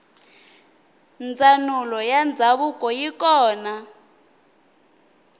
ndzanulo yandzavuko yikona